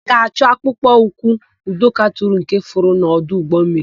A ga-achọ akpụkpọ ụkwụ Udoka tụrụ nke furu n'ọdụ ụgbọmmiri.